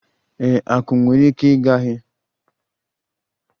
Ee, akum nwere ike ọ gaghị adi ngwa ngwa n'anya, ma ha nwere ike ịgba ọsọ na-eju anya ngwa ngwa